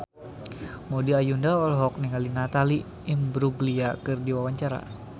Maudy Ayunda olohok ningali Natalie Imbruglia keur diwawancara